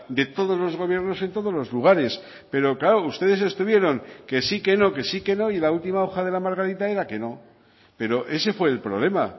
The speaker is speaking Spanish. de todos los gobiernos en todos los lugares pero claro ustedes estuvieron que sí que no que sí que no y la última hoja de la margarita era que no pero ese fue el problema